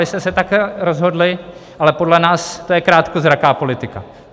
Vy jste se tak rozhodli, ale podle nás to je krátkozraká politika.